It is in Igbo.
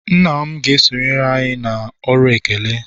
nna m ga-esonyere anyị na ọrụ ekele